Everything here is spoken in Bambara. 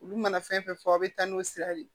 Olu mana fɛn fɛn fɔ aw bɛ taa n'o sira de ye